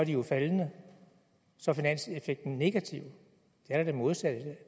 jo er faldende så er finanseffekten negativ det er da det modsatte